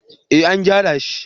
eh an gyara shi